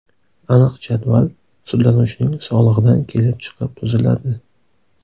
Aniq jadval sudlanuvchining sog‘lig‘idan kelib chiqib tuziladi.